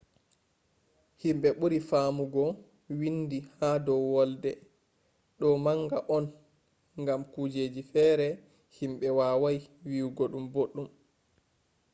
himɓe ɓuri faamugo windi ha dow wolde. ɗo gonga on gam kujeji fere himɓe wawai wiyugo ɗum boɗɗum